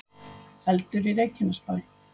Eldur í Reykjanesbæ